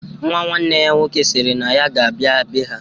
Nwa nwanne ya nwoke sịrị na ya ga-abịa be ha.